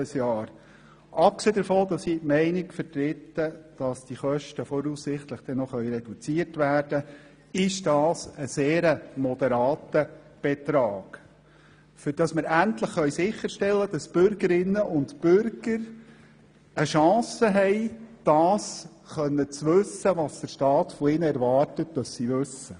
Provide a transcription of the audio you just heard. Abgesehen davon, dass ich der Meinung bin, diese Kosten könnten voraussichtlich noch reduziert werden, ist dies ein sehr moderater Betrag, um endlich sicherstellen zu können, dass die Bürgerinnen und Bürger eine Chance haben, das wissen zu können, wovon der Staat erwartet, dass sie es wissen.